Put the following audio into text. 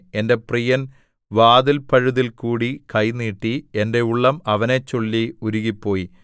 എന്റെ പ്രിയൻ വാതില്പഴുതിൽ കൂടി കൈ നീട്ടി എന്റെ ഉള്ളം അവനെച്ചൊല്ലി ഉരുകിപ്പോയി